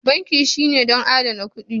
Banki shine don adana kuɗi